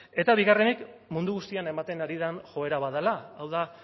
eta bigarrenik mundu guztian ematen ari den joera bat dela hau da